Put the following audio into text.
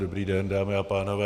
Dobrý den, dámy a pánové.